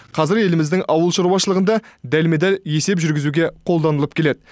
қазір еліміздің ауыл шаруашылығында дәлме дәл есеп жүргізуге қолданылып келеді